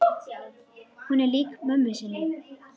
Hún er lík mömmu sinni.